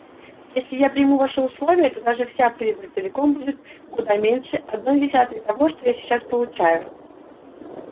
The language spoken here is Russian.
если я приму ваши условия то даже вся прибыль целиком будет куда меньше одной десятой того что я сейчас получаю